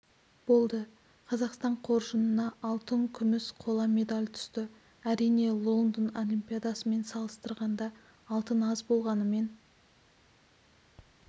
болды қазақстан қоржынына алтын күміс қола медаль түсті әрине лондон олимпиадасымен салыстырғанда алтын аз болғанымен